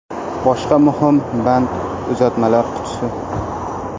Boshqa muhim band – uzatmalar qutisi.